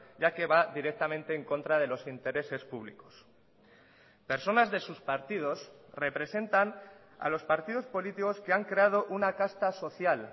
ya que va directamente en contra de los intereses públicos personas de sus partidos representan a los partidos políticos que han creado una casta social